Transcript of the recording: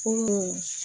Ko